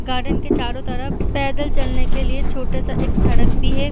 Garden के चारो तरफ पैदल चलने के लिए छोटा-सा एक सड़क भी है।